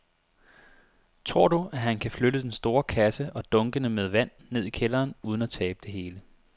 Tror du, at han kan flytte den store kasse og dunkene med vand ned i kælderen uden at tabe det hele?